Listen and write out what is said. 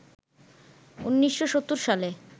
১৯৭০ সালে